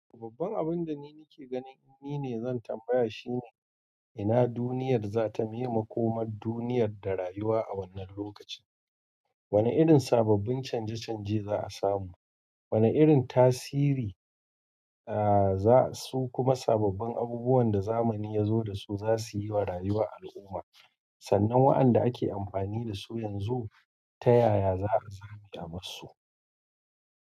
Sababbin abinda ni nike ganin in ni ne zan tambaya shine ina duniyar zata miye makomar duniyar da rayuwa a wannan lokacin. Wani irin sababbin canje-canje za'a samu. Wane irin tasiri a za su kuma sababbin abubuwan da zamani ya zo dasu zasuyi wa rayuwar al'umma sannan wa'anda ake amfani dasu yanzu ta yaya za a zame abarsu?